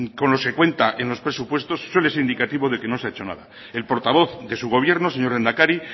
con los que cuenta en los presupuestos suele ser indicativo de que no se ha hecho nada el portavoz de su gobierno señor lehendakari